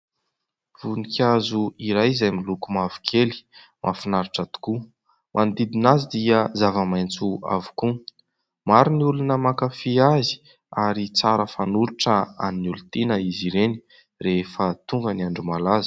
Voninkazo iray izay miloko mavokely mahfinaritra tokoa, manodidina azy dia zava-maitso avokoa, maro ny olona mankafy azy ary tsara fanolotra ho an'ny olotiana izy ireny rehefa tonga ny andro malaza.